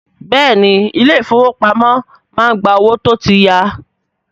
Bẹ́ẹ̀ni, ilé ìfọwọ́pamo má ń gba owó tó tí ya.